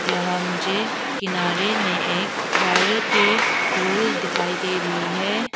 यहां मुझे किनारे में एक वायर के रोल दिखाई दे रही है।